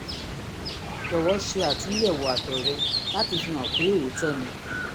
jọ̀wọ́ ṣe àtúnyẹ̀wò àtọ̀ rẹ láti fihàn pé òótọ́ ni